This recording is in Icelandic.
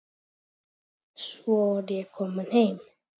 Svo var ég komin heim.